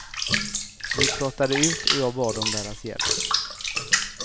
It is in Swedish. Vi pratade ut och jag bad om deras hjälp.